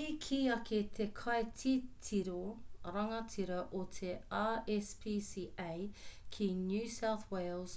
i kī ake te kaititiro rangatira o te rspca ki new south wales